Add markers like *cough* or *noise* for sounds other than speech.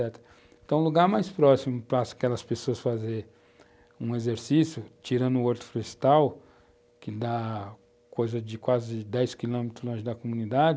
Então, o lugar mais próximo para aquelas pessoas fazerem um exercício, tirando o, *unintelligible* que dá quase dez quilômetros longe da comunidade,